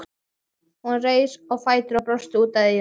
Hún reis á fætur og brosti út að eyrum.